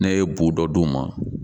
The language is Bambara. Ne ye bu dɔ d'u ma